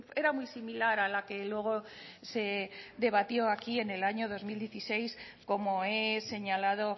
era muy similar a la que luego se debatió aquí en el año dos mil dieciséis como he señalado